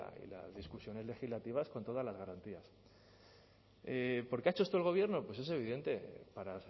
y las discusiones legislativas con todas las garantías por qué ha hecho esto el gobierno pues es evidente para